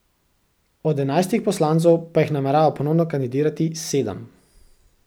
Od enajstih poslancev pa jih namerava ponovno kandidirati sedem.